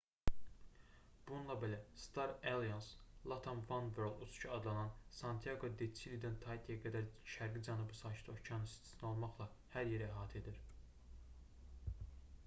bununla belə star alliance latam oneworld uçuşu adlanan və santiaqo-de-çilidən taitiyə qədər şərqi cənub sakit okeanı istisna olmaqla hər yeri əhatə edir